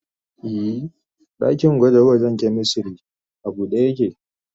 Ee, dakin gwaje-gwajen chemistry a buɗe yake.